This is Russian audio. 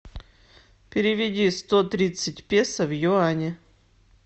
переведи сто тридцать песо в юани